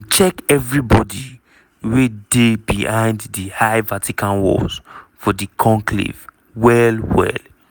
dem check evri body wey dey behind di high vatican walls for di conclave well-well.